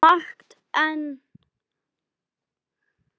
Margt er enn á seyði.